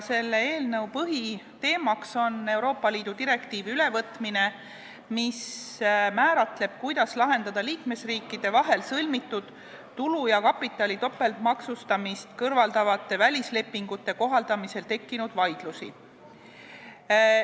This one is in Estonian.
Selle eelnõu põhiteema on, et võetakse üle Euroopa Liidu direktiiv, mis määratleb, kuidas lahendada liikmesriikide vahel sõlmitud tulu ja kapitali topeltmaksustamist kõrvaldavate välislepingute kohaldamisel tekkinud vaidlusi.